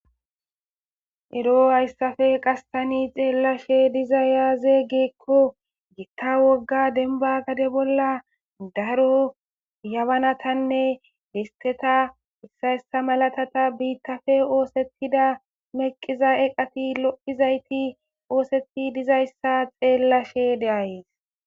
Ero tani haysappe xeelashe dizay aaze giiko gita wogga demba gade bolla dar yabanatanne disteta malatatanne biitappe oothetida meqiza eqati lo'izayti oothetidi dizaysa xeellashe de'ays.